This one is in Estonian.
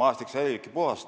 maastik säilibki puhas.